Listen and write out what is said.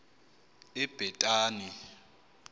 ebhetani